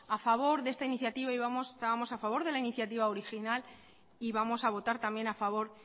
a favor de esta iniciativa y estábamos a favor de la iniciativa original y vamos a votar también a favor